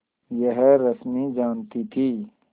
यह रश्मि जानती थी